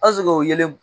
o ye